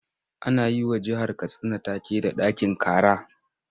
Ana yi wa jihar Katsina take da 'ɗakin kara'.